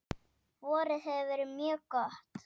Vorið hefur verið mjög gott.